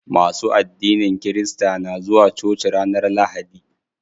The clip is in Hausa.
Masu addinin kirista na zuwa coci ranar lahadi.